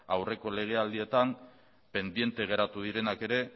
aurreko lege aldietan pendiente geratu direnak ere